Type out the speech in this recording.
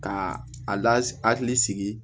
Ka a lakili sigi